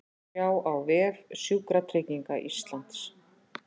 Sjá á vef Sjúkratrygginga Íslands